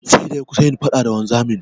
Sai da ya kusa yin faɗa da wanzamin.